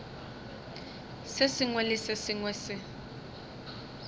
sengwe le se sengwe se